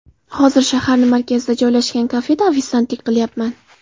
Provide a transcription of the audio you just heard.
Hozir shaharni markazida joylashgan kafeda ofitsiantlik qilyapman.